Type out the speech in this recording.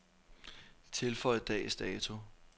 Tilføj dags dato.